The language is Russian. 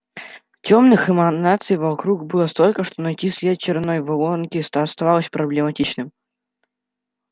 тёмных эманаций вокруг было столько что найти след чёрной воронки становилось проблематичным